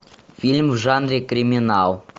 фильм в жанре криминал